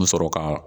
N mi sɔrɔ ka